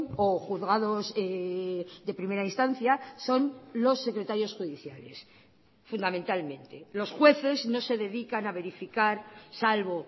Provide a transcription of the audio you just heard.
o juzgados de primera instancia son los secretarios judiciales fundamentalmente los jueces no se dedican a verificar salvo